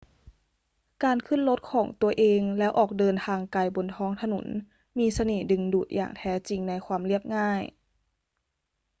การขึ้นรถของตัวเองแล้วออกเดินทางไกลบนท้องถนนมีเสน่ห์ดึงดูดอย่างแท้จริงในความเรียบง่าย